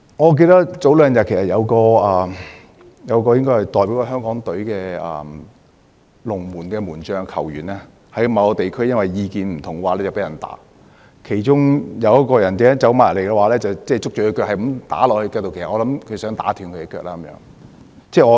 我記得早兩天，一名前香港足球代表隊門將在某地區因意見不合遭人毆打，其中有人走過去捉着他的腳不斷揮打，其實我猜那個人想打斷他的腳。